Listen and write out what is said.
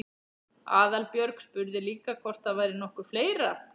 Aðalbjörg spurði líka hvort það væri nokkuð fleira?